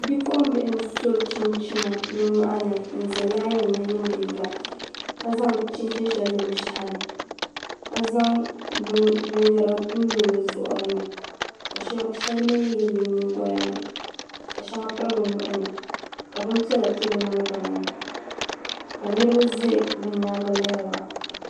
Bipuɣimbihi n-so chinchina bɛ nyɔɣu ni n-za lain ni yiindi yila ka zaŋ chinchini shɛli lo bɛ shɛhi ni ka zaŋ binyɛra n-lo bɛ zuɣiri ni ka shɛli mi yili bɛ nyiŋgoya ni ka shɛŋa piri bɛ nuhi ni ka bimpiɛla to bɛ niŋgbuna maa ka niriba za bɛ nyaaŋga lihiri ba.